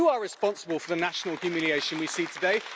You are responsible for the national humiliation we see today.